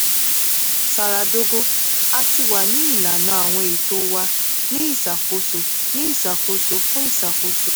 zara dogo: a ti wa ni ilana awọn eto wa ni iṣakoso ni iṣakoso fun iṣakoso